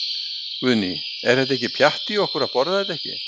Guðný: Er þetta ekki pjatt í okkur að borða þetta ekki?